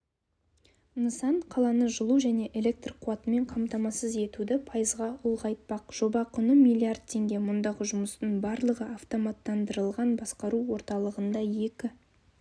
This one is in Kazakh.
нысан қаланы жылу және электр қуатымен қамтамасыз етуді пайызға ұлғайтпақ жоба құны млрд теңге мұндағы жұмыстың барлығы автоматтандырылған басқару орталығында екі